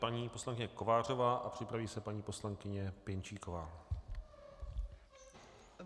Paní poslankyně Kovářová a připraví se paní poslankyně Pěnčíková.